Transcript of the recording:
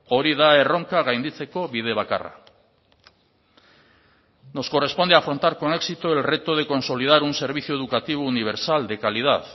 hori da erronka gainditzeko bide bakarra nos corresponde afrontar con éxito el reto de consolidar un servicio educativo universal de calidad